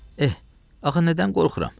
Eh, axı nədən qorxuram?